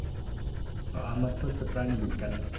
আমার তো হচ্ছে প্রাণী বিজ্ঞান।